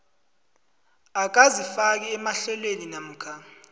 akazifaki emahlelweni namkha